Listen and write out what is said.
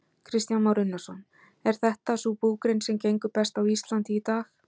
Kristján Már Unnarsson: Er þetta sú búgrein sem gengur best á Íslandi í dag?